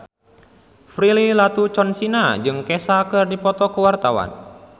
Prilly Latuconsina jeung Kesha keur dipoto ku wartawan